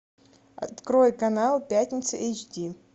открой канал пятница эйч ди